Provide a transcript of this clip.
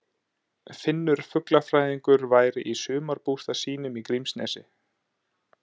Finnur fuglafræðingur væri í sumarbústað sínum í Grímsnesi.